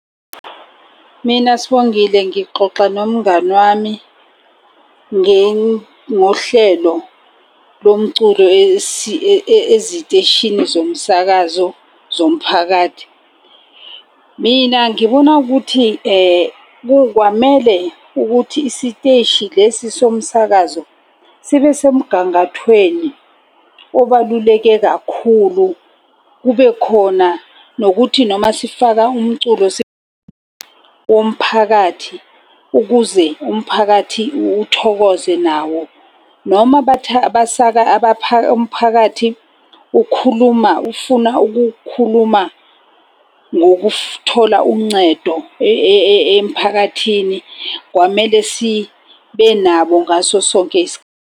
Mina Sibongile, ngixoxa nomngani wami ngohlelo lomculo eziteshini zomsakazo zomphakathi. Mina ngibona ukuthi kwamele ukuthi isiteshi lesi somsakazo sibe semgangathweni obaluleke kakhulu. Kube khona nokuthi noma sifaka umculo womphakathi ukuze umphakathi uthokoze nawo. Noma umphakathi ukhuluma ufuna ukukhuluma uncedo emphakathini. Kwamele sibe nabo ngaso sonke .